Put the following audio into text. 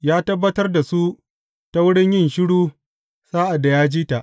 Ya tabbatar da su ta wurin yin shiru sa’ad da ya ji ta.